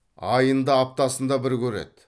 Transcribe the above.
айында аптасында бір көреді